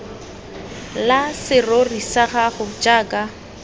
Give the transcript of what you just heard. la serori sa gago jaaka